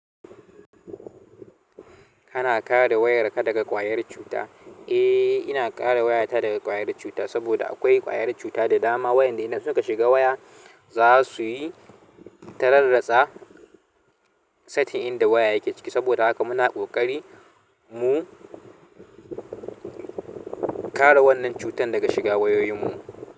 Kana kare wayarka daga ƙwayar cuta? Eh, ina kare wayata daga ƙwayar cuta saboda akwai ƙwayar cuta da dama waʼyanda idan suka shiga waya za su yi ta rarratsa saitin inda waya yake ciki. Saboda haka muna ƙoƙari mu kare wannan cutan daga shiga wayoyinmu.